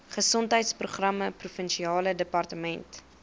gesondheidsprogramme provinsiale departement